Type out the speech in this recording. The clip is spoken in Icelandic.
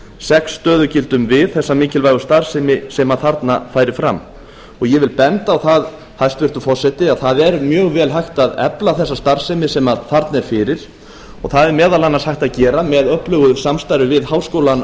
sex stöðugildum við þessa mikilvægu starfsemi sem þarna fer fram ég vil benda á það hæstvirtur forseti að það er mjög vel hægt að efla þessa starfsemi sem þarna er fyrir og það er meðal annars hægt að gera með öflugu samstarfi við háskólann